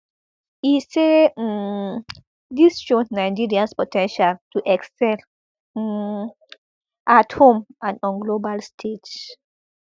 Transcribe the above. e say um dis show nigerians po ten tial to excel um at home and on global stage